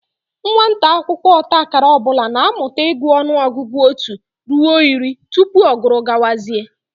Nwata akwụkwọ ọta akara ọ bụla na-amụta ịgụta ọnụọgụgụ otu ruo iri tupu ọ guru gawazie